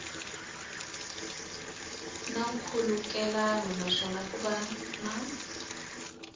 na nkhulukelano naswona ku na